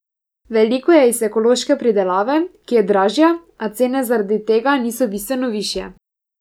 Veliko je iz ekološke pridelave, ki je dražja, a cene zaradi tega niso bistveno višje.